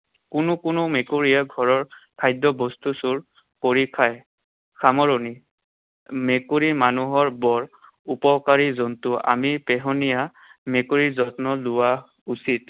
কোনো কোনো মেকুৰীয়ে ঘৰৰ খাদ্যবস্তু চুৰ কৰি খায়। সামৰণি। মেকুৰী মানুহৰ বৰ উপকাৰী জন্তু। আমি পোহনীয়া মেকুৰীাৰ যত্ন লোৱা উচিত।